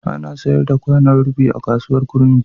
Ana sayar da kwanon rufi a kasuwar kurmi.